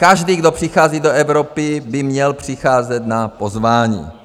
Každý, kdo přichází do Evropy, by měl přicházet na pozvání.